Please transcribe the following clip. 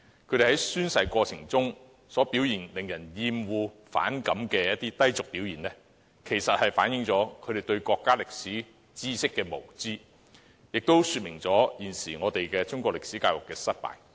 他們在宣誓過程中令人厭惡和反感的低俗表現，反映出他們對國家歷史知識的無知，亦說明現時中國歷史科教育的失敗。